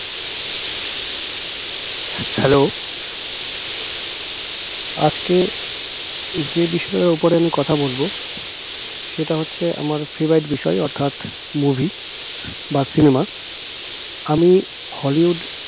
হে hello আজকে যে বিষয়ে উপরে আমি কথা বলব সেটা হচ্ছে আমার favorite বিষয় অর্থাৎ movie বা cinema আমি হলিউড